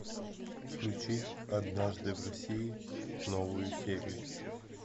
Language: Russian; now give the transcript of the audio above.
включить однажды в россии новую серию